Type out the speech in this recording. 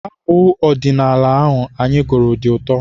Abụ ọdịnala ahụ anyị gụrụ dị ụtọ.